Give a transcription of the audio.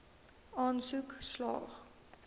aansoek slaag